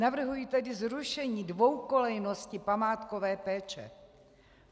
Navrhuji tedy zrušení dvoukolejnosti památkové péče.